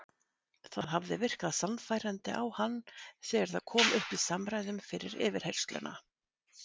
Það hafði virkað sannfærandi á hann þegar það kom upp í samræðum fyrir yfirheyrsluna.